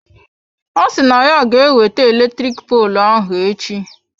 Ọ si na ya ga ewete eletrik poolụ ahụ echi.